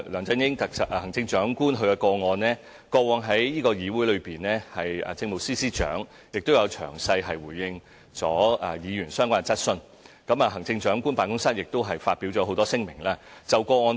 至於行政長官的個案，政務司司長過往在議會亦曾詳細回應議員的相關質詢，行政長官辦公室亦多次發表聲明。